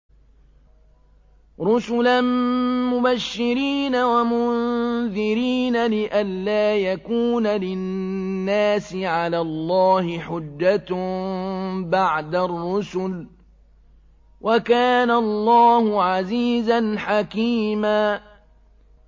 رُّسُلًا مُّبَشِّرِينَ وَمُنذِرِينَ لِئَلَّا يَكُونَ لِلنَّاسِ عَلَى اللَّهِ حُجَّةٌ بَعْدَ الرُّسُلِ ۚ وَكَانَ اللَّهُ عَزِيزًا حَكِيمًا